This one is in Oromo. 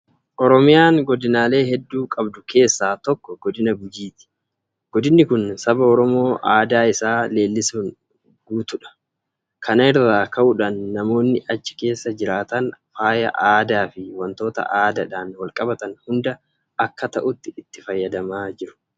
Oromiyaan godinaalee hedduu qabdu keessaa tokko godina Gujiiti. Godinni kun saba Oromoo aadaa isaa leellisuun guutuudha. Kana irraa ka'uudhaan namoonni achi keessa jiraatan faaya aadaafi waantota aadaadhaan walqabatan hunda akka ta'utti itti fayyadamaa jiru.